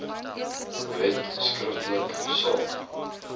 wet skriftelik saak